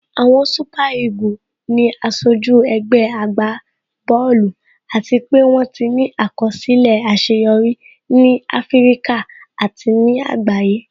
Àwọn super eagle ni aṣojú ẹgbẹ́ agbá bọ́ọ̀lù àti pé wón ti ní àkọsílẹ̀ àṣeyọrí ní Áfíríkà àti ní àgbáyé